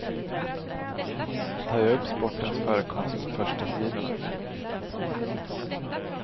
Han tar ju upp sportens förekomst på förstasidorna.